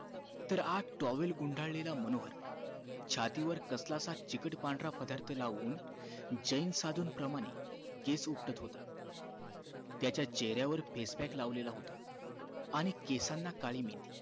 आत towel गुंडालेलं मनोहर छातीवर कसला असा चिकट पांढरा पदार्थ लावून जैन साधून प्रमाणे केस उपटत होता त्याच्या चेहऱ्यावर face pack लाव लेला होता आणि केसांना काली मेथी